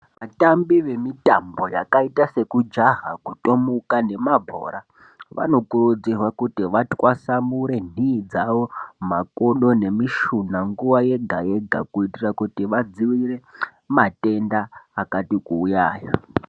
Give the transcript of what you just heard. Vatambi vemitambo yakaita sekujaha kutomuka nemabhora vanokurudzirwe kuti vatwasamure nhii dzavo makodo nemishuna nguwa yega yega kuitire kuti vadziirire matenda akati kuuya aya.